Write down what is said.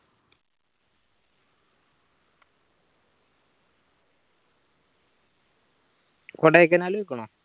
Kodaikanal പോയിക്കിണോ